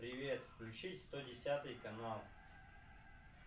привет включить сто десятый канал